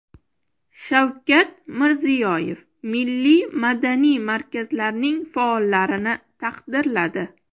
Shavkat Mirziyoyev milliy madaniy markazlarning faollarini taqdirladi.